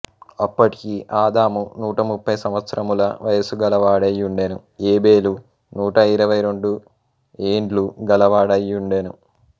అప్పటికి అదాము నూట ముప్పై సంవత్సరముల వయసుగలవాడై వుండెను ఏబేలు నూట ఇరవై రెండు ఏండ్లు గలవాడైయుండెను